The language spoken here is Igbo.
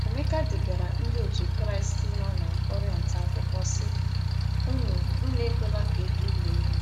Emeka degaara Ndị Otú Kristi nọ na Kọrịnt akwụkwọ, sị: “ Unu Unu ekwela ka e duhie unu.